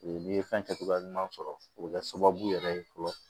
N'i ye fɛn kɛcogoya ɲuman sɔrɔ o bɛ kɛ sababu yɛrɛ ye fɔlɔ